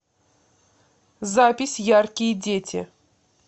запись яркие дети